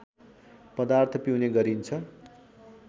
पदार्थ पिउने गरिन्छ